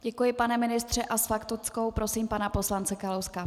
Děkuji, pane ministře, a s faktickou prosím pana poslance Kalouska.